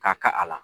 Ka kan a la